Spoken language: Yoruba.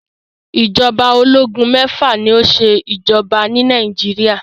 Ìjọba ológun mẹ́fà ni ó ṣe ìjọba ni Nàìjíríà.